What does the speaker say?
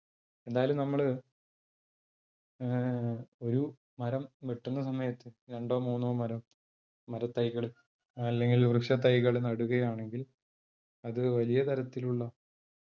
എന്തായാലും നമ്മൾ അഹ് ഒരു മരം വെട്ടുന്ന സമയത്ത് രണ്ടോ മൂന്നോ മരം മരത്തൈകൾ അല്ലെങ്കിൽ വൃക്ഷത്തൈകൾ നടുകയാണെങ്കിൽ അത് വലിയ തരത്തിലുള്ള